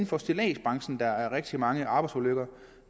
for stilladsbranchen hvis der er rigtig mange arbejdsulykker